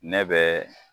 Ne bɛ